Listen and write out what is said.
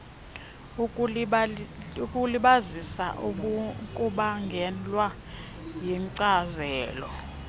ukulibazisa kubangelwa yinkcazelo